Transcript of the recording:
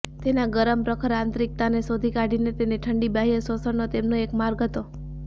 તેના ગરમ પ્રખર આંતરીકતાને શોધી કાઢીને તેના ઠંડી બાહ્ય શોષણનો તેમનો એક માર્ગ હતો